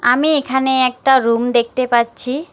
আমি এখানে একটা রুম দেখতে পাচ্ছি।